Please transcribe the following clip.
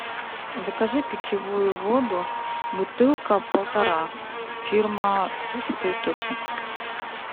закажи питьевую воду бутылка полтора фирма святой источник